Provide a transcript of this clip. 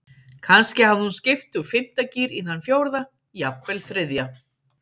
Kannski hafði hún skipt úr fimmta gír í þann fjórða, jafnvel þriðja.